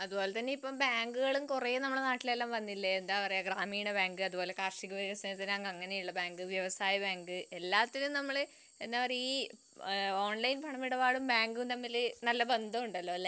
അതുപോലെ തന്നെ ഇപ്പൊ ബാങ്കുകളും നമ്മളെ നാട്ടിൽ കൊറേ വന്നില്ലേ ഇപ്പൊ ഗ്രാമീണ ബാങ്കുകളും കാർഷിക വികസന ബാങ്ക് അങ്ങനെയുള്ള ബാങ്ക്, വ്യവസായ ബാങ്ക് എല്ലാത്തിനും നമ്മള് ഈ ഓൺലൈൻ ഇടപാടും ബാങ്കും തമ്മിൽ നല്ല ബന്ധമുണ്ടല്ലോ